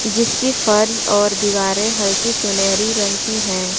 जिसकी फर्श और दीवारें हल्की सुनहरी रंग की है।